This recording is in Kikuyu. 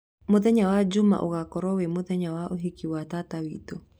Mũthenya wa juma ũgakorwo wĩ mũthenya wa ũhiki wa tata witũ.